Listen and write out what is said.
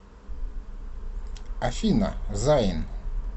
афина зайн